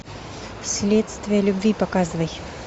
следствие любви показывай